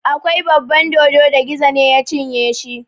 Akwai baban dodo da Gizo ne ya cinye shi.